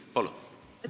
Palun!